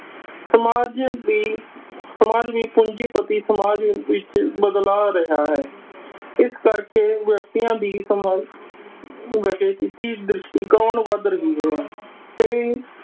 ਸਮਾਜ ਵੀ ਸਮਾਜ ਵੀ ਪੂੰਜੀ ਪਤੀ ਸਮਾਜ ਵਿਚ ਬਦਲਾ ਰਿਹਾ ਹੈ । ਇਸ ਕਰਕੇ ਵਿਅਕਤੀਆਂ ਦੀ ਸਮਾਜ ਦ੍ਰਿਸ਼ਟੀ ਕੌਣ ਵੱਧ ਰਿਹਾ ਹੈ।